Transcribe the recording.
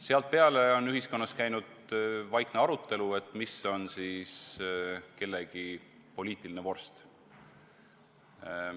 Sealtpeale on ühiskonnas käinud vaikne arutelu, mis on siis kellegi poliitiline vorst.